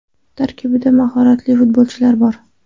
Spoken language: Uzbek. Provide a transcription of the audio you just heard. Tarkibida mahoratli futbolchilar bor.